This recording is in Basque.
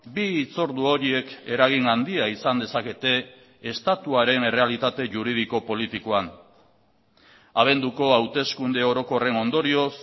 bi hitz ordu horiek eragin handia izan dezakete estatuaren errealitate juridiko politikoan abenduko hauteskunde orokorren ondorioz